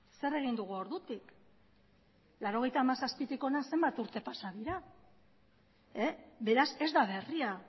zer egin dugu ordutik laurogeita hamazazpitik hona zenbat urte pasa dira beraz ez da berria